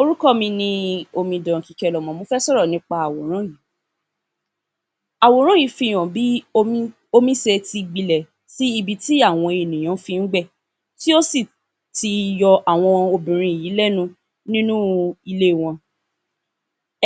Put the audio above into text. Orúkọ mi ni omidan Kíkẹ́lọmọ. Mo fẹ́ sọ̀rọ̀ nípa àwòrán yìí. Àwòrán yìí fi hàn bí omi omi ṣe ti gbilẹ̀ sí ibi tí àwọn ènìyàn fí gbẹ̀, tí ó sì ti yọ àwọn obìnrin yìí lẹ́nu nínú ilé wọn.